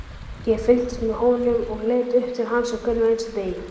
Ég fylgdist með honum og leit upp til hans á hverjum einasta degi,